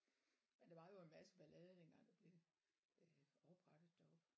Men der var jo en masse ballade dengang det blev øh oprettet deroppe